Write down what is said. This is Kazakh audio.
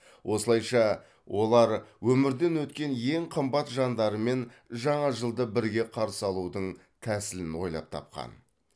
осылайша олар өмірден өткен ең қымбат жандарымен жаңа жылды бірге қарсы алудың тәсілін ойлап тапқан